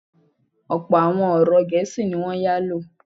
Ọ̀pọ̀ àwọn ọ̀rọ̀ Gẹ̀ésì ní wọ́n yálò.